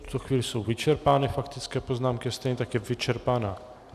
V tuto chvíli jsou vyčerpány faktické poznámky, stejně tak je vyčerpána...